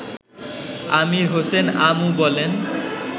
আমির হোসেন আমু বলেন